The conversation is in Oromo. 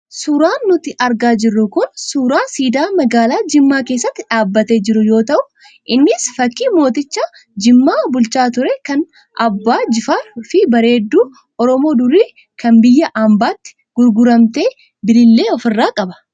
Suuraan nuti argaa jirru kun, suuraa siidaa magaalaa Jimmaa keessatti dhaabbatee jiru yoo ta'u innis fakii mooticha Jimmaa bulchaa ture kan Abbaa Jifaarii fi bareedduu Oromoo durii kan biyya ambaatti gurguramte Bilillee ofirraa qaba.